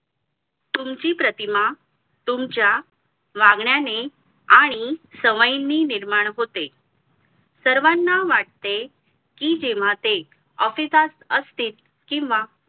तुमची प्रतिमा तुमच्या वागण्याने आणि सवयीने निर्माण होते सर्वाना वाटते कि जेव्हा ते office असतील किंवा